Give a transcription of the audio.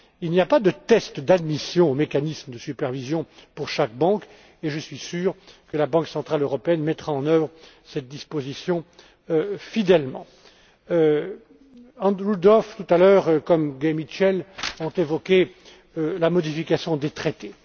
Il n'y a pas de tests d'admission aux mécanismes de supervision pour chaque banque, et je suis sûr que la Banque centrale européenne mettra en œuvre cette disposition fidèlement. Andrew Duff, tout à l'heure, et Gay Mitchell, ont évoqué la modification des traités.